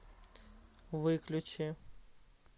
выключи